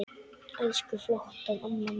Elsku flotta amma mín.